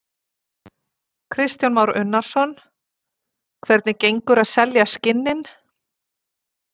Kristján Már Unnarsson: Hvernig gengur að selja skinnin?